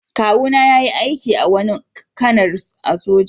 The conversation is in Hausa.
Kawu na yayi aiki da wani kanar a'soja.